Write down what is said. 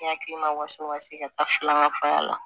Ne hakili ma waso ka se ka taa filanan faŋa la